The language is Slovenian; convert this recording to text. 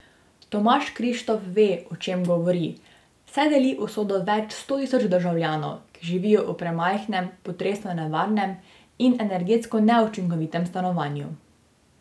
Tomaž Krištof ve, o čem govori, saj deli usodo več sto tisoč državljanov, ki živijo v premajhnem, potresno nevarnem in energetsko neučinkovitem stanovanju.